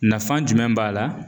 Nafan jumɛn b'a la?